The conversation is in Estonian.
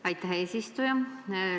Aitäh, eesistuja!